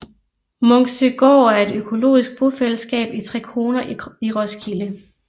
Munksøgård er et økologisk bofællesskab i Trekroner i Roskilde